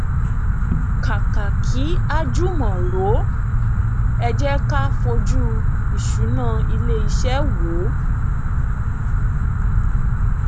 kàkà kí a jùmọ rò ẹ jé ká fojú ìṣúná ilé iṣẹ wò